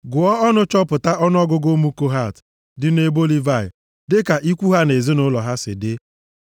“Gụọ ọnụ chọpụta, ọnụọgụgụ ụmụ Kohat dị nʼebo Livayị dịka ikwu ha na ezinaụlọ ha si dị.